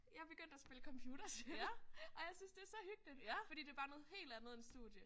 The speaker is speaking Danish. Jeg er begyndt at spille computerspil og jeg synes det er så hyggeligt fordi det er bare noget helt andet end studie